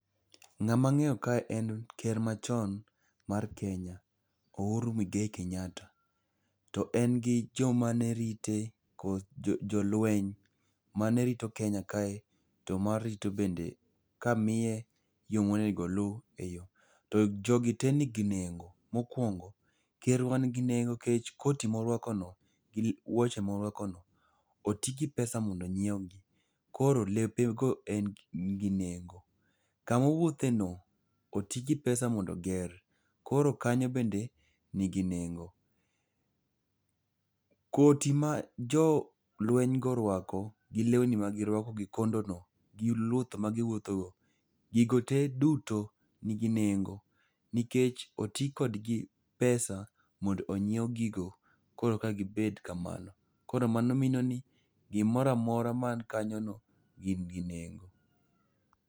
Ng'ama ng'eyo kae en ker machon mar Kenya, Uhuru Muigai Kenyatta, to en gi joma nerite kod jolweny manerito Kenya kae, to marito bende kamiye yo monego oluw e yo. To jogi te nigi nengo. Mokwongo, ker wa nigi nengo nikech koti morwakono gi wuoche morwakono, oti gi pesa mondo onyiewgi. Koro lepe go nigi nengo. Komawuotheno otigi pesa mondo oger. Koro kanyo bende nigi nengo. Koti ma jolweny go orwako ,gi lewni magirwako gi kondono gi luth magiwuothogo, gigo te duto nigi nengo, nikech oti kod pesa mondo onyiew gigo, korka gibed kamano. Koro mano minenoni, gimoro amora man kanyono, gin gi nengo.